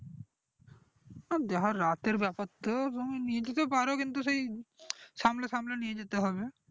ও দ্যাখো রাতের ব্যাপার তো নিয়ে যেতে পারো কিন্তু সেই সামলে সামলে নিয়ে যেতে হবে